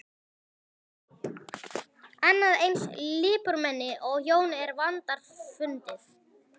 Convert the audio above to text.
Annað eins lipurmenni og Jón er vandfundið.